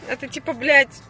это типа блять